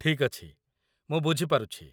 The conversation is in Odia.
ଠିକ୍ ଅଛି, ମୁଁ ବୁଝି ପାରୁଛି।